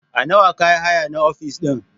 A Nawa ka hayi nan ofis ɗin?